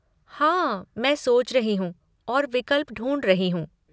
हाँ, मैं सोच रही हूँ और विकल्प ढूँढ रही हूँ।